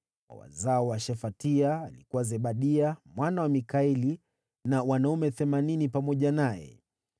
wa wazao wa Shefatia, alikuwa Zebadia mwana wa Mikaeli na wanaume 80 pamoja naye;